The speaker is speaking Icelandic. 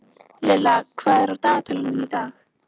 Lilla, hvað er á dagatalinu í dag?